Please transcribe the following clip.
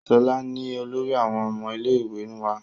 Ṣọlá ni olórí àwọn ọmọ ilé ìwé wa